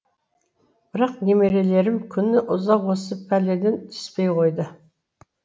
бірақ немерелерім күні ұзақ осы пәледен түспей қойды